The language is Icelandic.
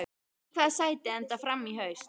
Í hvaða sæti endar Fram í haust?